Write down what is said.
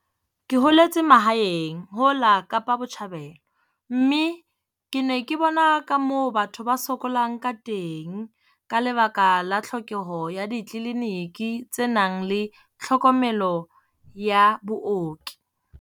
Ke holetse mahaeng ho la Kapa Botjhabela mme ke ne ke bona ka moo batho ba sokolang ka teng ka lebaka la tlhokeho ya ditleliniki tse nang le tlhokomelo ya booki.